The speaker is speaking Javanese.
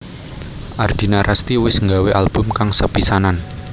Ardina Rasti wis nggawé album kang sepisanan